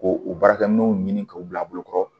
Ko u baarakɛminɛnw ɲini k'u bila bolokɔrɔ